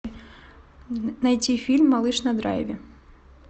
найти фильм малыш на драйве